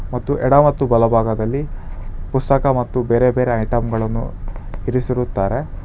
ಮತ್ತು ಎಡ ಮತ್ತು ಬಲಭಾಗದಲ್ಲಿ ಪುಸ್ತಕ ಪುಸ್ತಕ ಮತ್ತು ಬೇರೆ ಬೇರೆ ಐಟಂ ಗಳನ್ನು ಇರಿಸಿರುತ್ತಾರೆ.